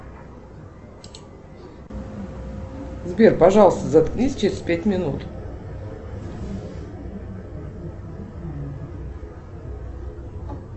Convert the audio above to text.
сбер пожалуйста заткнись через пять минут